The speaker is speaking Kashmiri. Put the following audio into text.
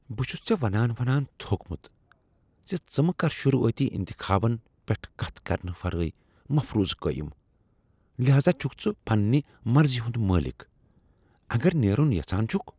بہٕ چھس ژےٚ ونان ونان تھوٚکمت ز ژٕ مہ کر شروعٲتی انتخابن پیٹھ کتھ کرنہٕ ورٲے مفروضہٕ قایم، لہذا چھکھ ژٕ پنٛنہ مرضی ہند مٲلک اگر نیرن یژھان چھکھ۔